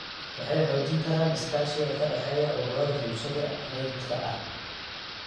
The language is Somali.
Waxay xoojin karaan iskaashiga ka dhexeeya ururada bulshada rayidka ah.